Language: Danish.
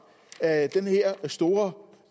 af den her store